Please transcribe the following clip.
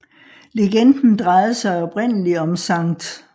Legenden drejede sig oprindelig om Skt